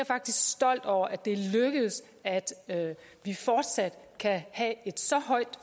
faktisk stolt over at det er lykkedes at vi fortsat kan have et så højt